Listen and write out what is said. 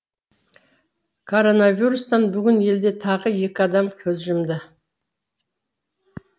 коронавирустан бүгін елде тағы екі адам көз жұмды